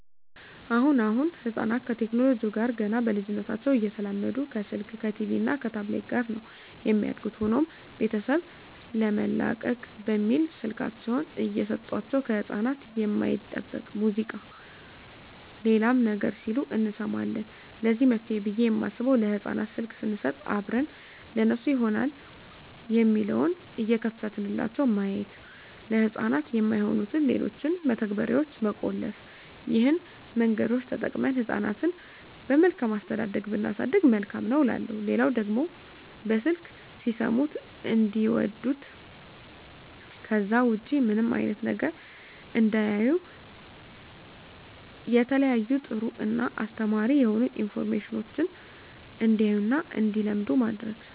አሁን አሁን ህጻናት ከቴክኖለጂው ጋር ገና በልጂነታቸው እየተላመዱ ከስልክ ከቲቪ እና ከታብሌት ጋር ነው የሚያድጉት። ሆኖም ቤተሰብ ለመላቀቅ በሚል ስልካቸውን እየሰጦቸው ከህጻናት የማይጠበቅ ሙዚቃ ሌላም ነገር ሲሉ እንሰማለን ለዚህ መፍትሄ ብየ የማስበው ለህጻናት ስልክ ሰንሰጥ አብረን ለነሱ ይሆናል የሚለውን እየከፈትንላቸው ማየት፤ ለህጻናት የማይሆኑትን ሌሎችን መተግበርያዋች መቆለፍ ይህን መንገዶች ተጠቅመን ህጻናትን በመልካም አስተዳደግ ብናሳድግ መልካም ነው እላለሁ። ሌላው ደግሞ በስልክ ሲሰሙት እንዲዋዱት ከዛ ውጭ ምንም አይነት ነገር እንዳያዩ የተለያዩ ጥሩ እና አስተማሪ የሆኑ አኒሜሽኖችን እንዲያዩ እና እንዲለምዱ ማድረግ።